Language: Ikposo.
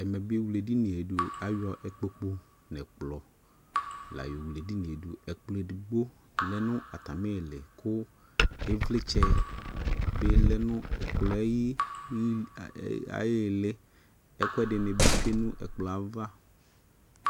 Ɛmɛ be ewle edinie do, ayɔ ikpoku nɛ kplɔ la yɔ wle edinie doƐkplɔ edigbo lɛ no atame le ko evlɛtsɛ be lɛ no ɛkplɔ ayi a ɛ aye eleƐkuɛde ne be tsue no ɛkplɔ ava